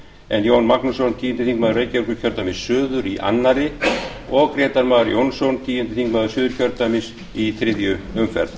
en jón magnússon tíundi þingmaður reykjavíkurkjördæmis suður í öðru og grétar mar jónsson tíundi þingmaður suður í þriðju umferð